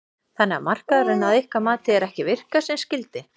Þannig að markaðurinn að ykkar mati er ekki að virka sem skyldi?